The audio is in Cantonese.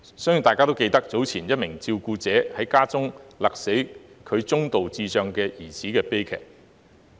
相信大家都記得，早前一名照顧者在家中勒斃其中度智障兒子的悲劇。